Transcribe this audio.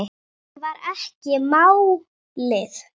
Sem var ekki málið.